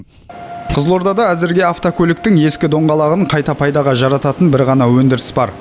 қызылордада әзірге автокөліктің ескі доңғалағын қайта пайдаға жарататын бір ғана өндіріс бар